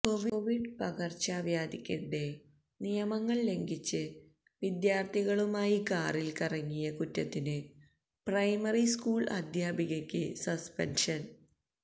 Covid പകർച്ചവ്യാധിക്കിടെ നിയമങ്ങള് ലംഘിച്ച് വിദ്യാര്ത്ഥികളുമായി കാറില് കറങ്ങിയ കുറ്റത്തിന് പ്രൈമറി സ്കൂള് അധ്യാപികയ്ക്ക് സസ്പെന്ഷന്